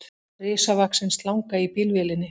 Risavaxin slanga í bílvélinni